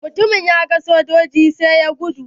Mutumin ya gan sojojin sai ya gudu.